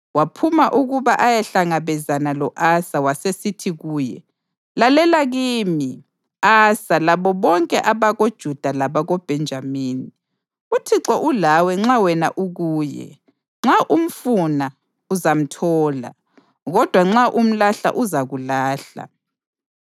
Waphuma ukuba ayehlangabezana lo-Asa wasesithi kuye, “Lalela kimi, Asa labo bonke abakoJuda labakoBhenjamini. UThixo ulawe nxa wena ukuye. Nxa umfuna, uzamthola, kodwa nxa umlahla uzakulahla.